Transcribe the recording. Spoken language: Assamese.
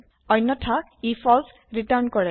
অন্যথা ই ফল্চ ৰিটাৰ্ণ কৰে